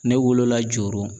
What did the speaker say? Ne wolola Joro